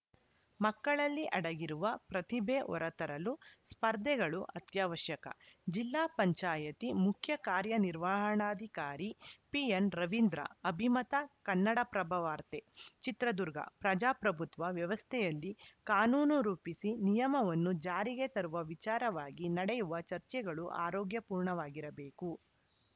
ಮಕ್ಕಳಲ್ಲಿ ಅಡಗಿರುವ ಪ್ರತಿಭೆ ಹೊರತರಲು ಸ್ಪರ್ಧೆಗಳು ಅತ್ಯವಶ್ಯಕ ಜಿಲ್ಲಾ ಪಂಚಾಯತ್ ಮುಖ್ಯ ಕಾರ್ಯನಿರ್ವಹಣಾಧಿಕಾರಿ ಪಿಎನ್‌ ರವೀಂದ್ರ ಅಭಿಮತ ಕನ್ನಡಪ್ರಭವಾರ್ತೆ ಚಿತ್ರದುರ್ಗ ಪ್ರಜಾಪ್ರಭುತ್ವ ವ್ಯವಸ್ಥೆಯಲ್ಲಿ ಕಾನೂನು ರೂಪಿಸಿ ನಿಯಮವನ್ನು ಜಾರಿಗೆ ತರುವ ವಿಚಾರವಾಗಿ ನಡೆಯುವ ಚರ್ಚೆಗಳು ಆರೋಗ್ಯಪೂರ್ಣವಾಗಿರಬೇಕು